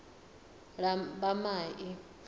lambamai